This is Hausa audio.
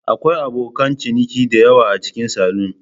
Akwai abokan ciniki da yawa a cikin salon.